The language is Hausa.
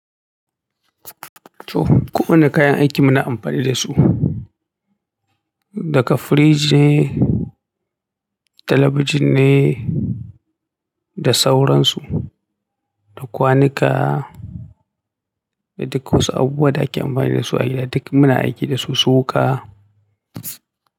To, ko wane kayan aiki muna amfani da su, daga fridge ne, talabijin ne da sauransu, da kwanuka, da duk wasu abubuwa da ake amfani da su a gida, duk muna aiki da su su wuka.